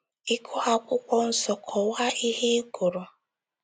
Ị gụọ Akwụkwọ Nsọ, kọwaa ihe ị gụrụ.